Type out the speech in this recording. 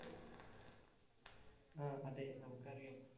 ആഹ് അതെ നമുക്കറിയാം.